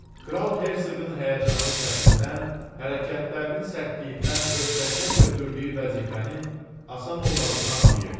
Kral hersoqun həyəcanlı səsindən, hərəkətlərinin sərtliyindən öhdəsinə götürdüyü vəzifənin asan olmadığını anlayırdı.